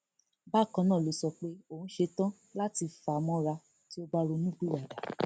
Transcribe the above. bákan náà ló sọ pé òun ṣetán láti fà á mọra tí ò bá ronúpìwàdà